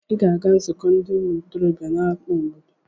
Ị ga-aga nzukọ ndị ntorobịa n'amá obodo!